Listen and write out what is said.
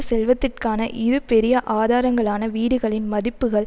செல்வத்திற்கான இரு பெரிய ஆதாரங்களான வீடுகளின் மதிப்புக்கள்